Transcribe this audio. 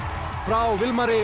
frá